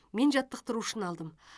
мен жаттықтырушыны алдым